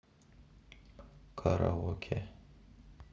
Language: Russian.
караоке